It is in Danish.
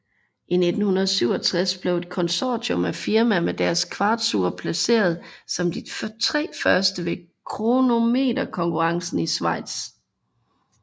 I 1967 blev et konsortium af firmaer med deres kvartsure placeret som de 3 første ved kronometerkonkurrencen i Schweiz